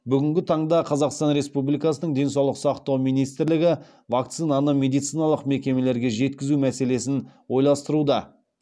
бүгінгі таңда қазаұстан республикасының денсаулық сақтау министрлігі вакцинаны медициналық мекемелерге жеткізу мәселесін ойластыруда